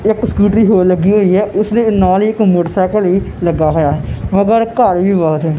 ਇੱਕ ਸਕੂਟਰੀ ਹੋਰ ਲੱਗੀ ਹੋਈ ਐ ਉਸਨੇ ਨਾਲ ਹੀ ਇੱਕ ਮੋਟਰਸਾਈਕਲ ਹੀ ਲੱਗਾ ਹੋਇਆ ਹੈ ਮਗਰ ਘਰ ਵੀ ਬਹੁਤ ਐ।